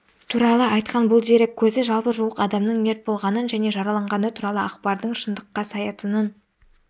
туралы айтқан бұл дерек көзі жалпы жуық адамның мерт болғанын және жараланғаны туралы ақпардың шындыққа саятынын